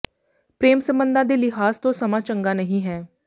ਪ੍ਰੇਮ ਸਬੰਧਾਂ ਦੇ ਲਿਹਾਜ਼ ਤੋਂ ਸਮਾਂ ਚੰਗਾ ਨਹੀਂ ਹੈ